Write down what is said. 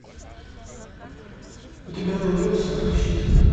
у тебя найдется щит